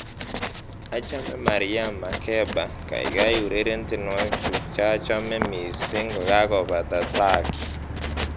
Achame Miriam Makeba, kaikai ureren tienwokikchu chachome mising kokakobata Traki